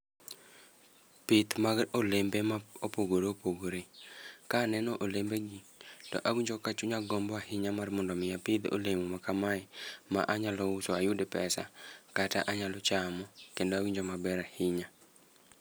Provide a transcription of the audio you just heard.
Pith mag olembe ma opogore opogore. Ka aneno olembe gi to awinjo chunya gombo ahinya mar mondo mi apidh olemo makamae, ma anyalo uso ayud pesa, kata anyalo chamo, kendo awinjo maber ahinya.